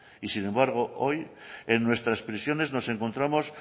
y sin embargo hoy en nuestras prisiones nos encontramos